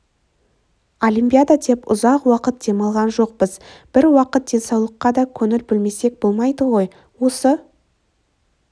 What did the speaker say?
олимпиада деп ұзақ уақыт демалған жоқпыз бір уақыт денсаулыққа да көңіл бөлмесек болмайды ғой осы